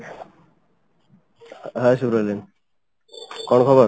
hey ସୁବ୍ରଲିଂ, କଣ ଖବର?